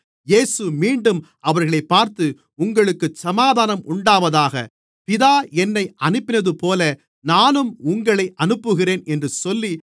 இயேசு மீண்டும் அவர்களைப் பார்த்து உங்களுக்குச் சமாதானம் உண்டாவதாக பிதா என்னை அனுப்பினதுபோல நானும் உங்களை அனுப்புகிறேன் என்று சொல்லி